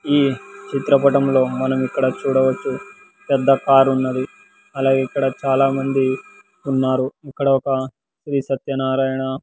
ఈ చిత్రపటంలో మనం ఇక్కడ చూడవచ్చు పెద్ద కార్ ఉన్నది అలాగే ఇక్కడ చాలామంది ఉన్నారు ఇక్కడ ఒక శ్రీ సత్యనారాయణ--